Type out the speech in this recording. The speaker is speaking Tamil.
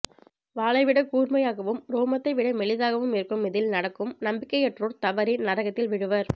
வாளைவிடக் கூர்மையாகவும் ரோமத்தை விட மெலிதாகவும் இருக்கும் இதில் நடக்கும் நம்பிக்கையற்றோர் தவறி நரகத்தில் விழுவர்